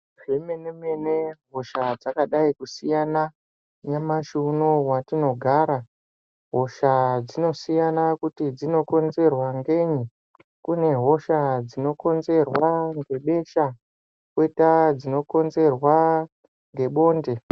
Zvemene mene hosha dzakadai kusiyana nyamashi unowu watinogara Hosha dzinosiyana kuti dzinokonzerwa nei Kune hosha dzinokonzerwa nebesha koita dzinokonzerwa nebonde.